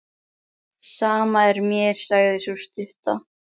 Sama er mér, sagði sú stutta.